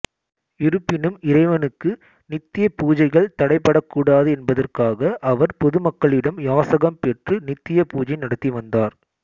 இருப்பினும் இறைவனுக்கு நித்திய பூஜைகள் தடைபடக்கூடாது என்பதற்காக அவர் பொதுமக்களிடம் யாசகம் பெற்று நித்திய பூஜை நடத்தி வந்தார்